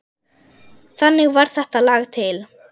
Þannig varð þetta lag til.